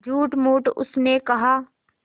झूठमूठ उसने कहा